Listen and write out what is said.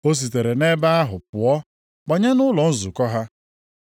O sitere nʼebe ahụ pụọ banye nʼụlọ nzukọ ha.